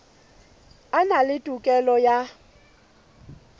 a na le tokelo ya